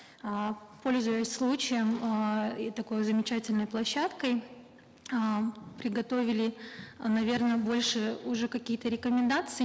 э пользуясь случаем эээ и такой замечательной площадкой эээ приготовили наверно больше уже какие то рекомендации